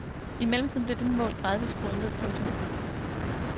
I mellemtiden blev dette mål gradvist skruet ned. punktum